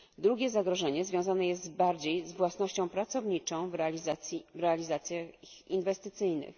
Drugie zagrożenie związane jest bardziej z własnością pracowniczą w realizacjach inwestycyjnych.